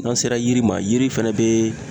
N'an sera yiri ma, yiri fɛnɛ be